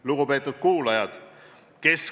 Lugupeetud kuulajad!